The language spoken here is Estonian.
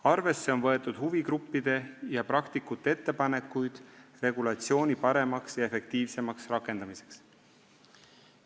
Arvesse on võetud huvigruppide ja praktikute ettepanekuid regulatsiooni paremaks, efektiivsemaks rakendamiseks.